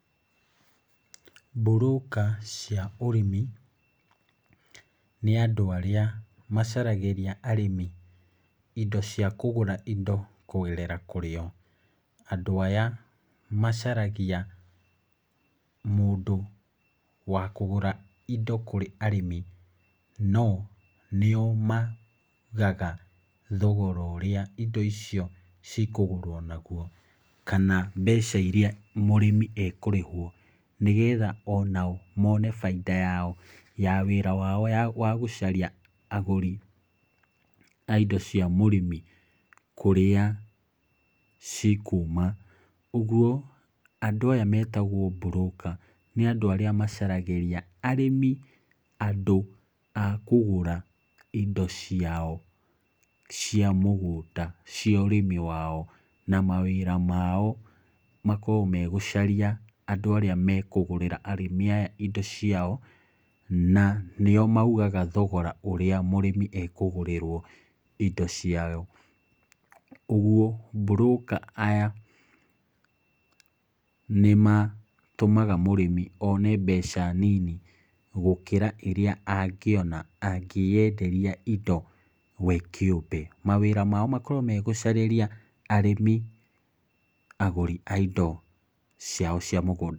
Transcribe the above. Mburũka cia ũrĩmi, nĩ andũ arĩa macaragĩria arĩmi indo cia kũgũra indo, kũgerera kũrĩo. Andũ aya, macaragia mũndũ wa kũgũra indo kũrĩ arĩmi, no nĩo maugaga thogora ũrĩa indo icio cikũgũrwo naguo, kana mbeca iria mũrĩmi ekũrĩhwo. Nĩgetha onao mone bainda yao ya gwetha mũgũri wa indo cia mũrĩmi kũrĩa cikuuma. Ũguo andũ aya metagwo mburũka nĩ andũ arĩa macaragĩria arĩmi andũ a kũgũra indo ciao cia mũgũnda cia ũrĩmi wao. Na mawĩra mao makoragwo megũcaria andũ arĩa mekũgũrĩra arĩmi aya indo ciao, na nio maugaga thogora ũrĩa mũrĩmi ekũgũrĩrwo indo ciao. Ũguo, mburũka aya, nĩmatũmaga mũrĩmi one mbeca nini gũkĩra iria angĩona akĩyanderia indo we kĩũmbe. Mawĩra mao makoragwo megũcarĩria arĩmi agũri aindo ciao cia mũgũnda.